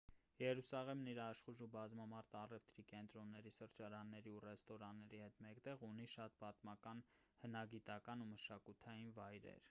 երուսաղեմն իր աշխույժ ու բազմամարդ առևտրի կենտրոնների սրճարանների ու ռեստորանների հետ մեկտեղ ունի շատ պատմական հնագիտական ու մշակութային վայրեր